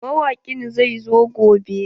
Mawaƙin zai zo gobe.